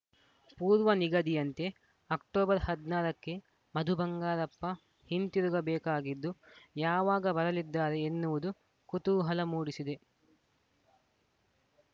ಪೂರ್ವನಿಗದಿಯಂತೆ October ಹದನಾರ ಕ್ಕೆ ಮಧು ಬಂಗಾರಪ್ಪ ಹಿಂತಿರುಗಬೇಕಾಗಿದ್ದು ಯಾವಾಗ ಬರಲಿದ್ದಾರೆ ಎನ್ನುವುದು ಕೂತುಹಲ ಮೂಡಿಸಿದೆ